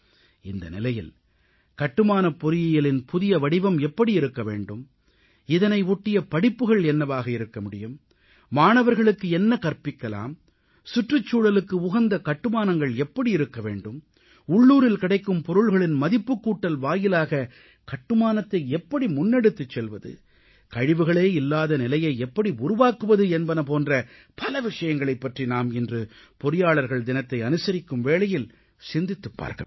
இந்த நிலையில் கட்டுமானப் பொறியியலின் புதிய வடிவம் எப்படி இருக்க வேண்டும் இதனை ஒட்டிய படிப்புகள் என்னவாக இருக்க முடியும் மாணவர்களுக்கு என்ன கற்பிக்கலாம் சுற்றுச் சூழலுக்கு உகந்த கட்டுமானங்கள் எப்படி இருக்க வேண்டும் உள்ளூரில் கிடைக்கும் பொருள்களின் மதிப்புக்கூட்டல் வாயிலாக கட்டுமானத்தை எப்படி முன்னெடுத்துச் செல்வது கழிவுகளே இல்லாத நிலையை எப்படி உருவாக்குவது என்பன போன்ற பல விஷயங்களைப் பற்றி நாம் இன்று பொறியாளர்கள் தினத்தை அனுசரிக்கும் வேளையில் சிந்தித்துப் பார்க்க வேண்டும்